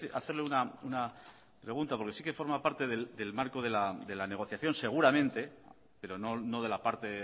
hacerle una pregunta porque sí que forma parte del marco de la negociación seguramente pero no de la parte